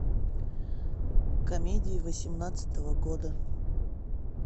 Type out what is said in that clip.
комедии восемнадцатого года